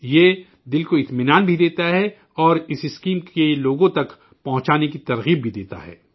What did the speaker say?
یہ من کو اطمینان بھی دیتا ہے اور اس اسکیم کو لوگوں تک پہنچانے کی تحریک بھی دیتا ہے